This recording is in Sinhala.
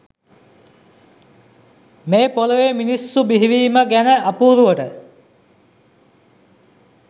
මේ පොළොවේ මිනිස්සු බිහිවීම ගැන අපුරුවට